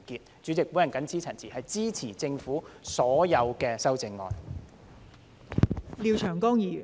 代理主席，我謹此陳辭，支持政府的所有修正案。